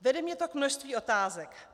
Vede mě to k množství otázek.